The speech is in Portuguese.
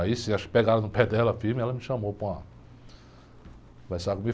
Aí, sim, acho que pegaram no pé dela firme, ela me chamou para conversar comigo.